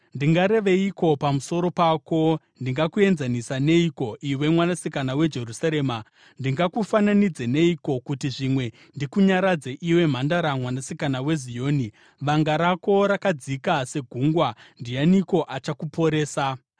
Ndingareveiko pamusoro pako? Ndingakuenzanisa neiko, iwe Mwanasikana weJerusarema? Ndingakufananidze neiko, kuti zvimwe ndikunyaradze, iwe Mhandara Mwanasikana weZioni? Vanga rako rakadzika segungwa. Ndianiko achakuporesa?